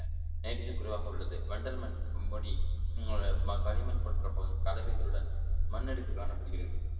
nitrogen குறைவாக உள்ளது வண்டல் மண் முடி களிமண் போன்ற பல கலவைகளுடன் மண் அடுக்கு காணப்படுகிறது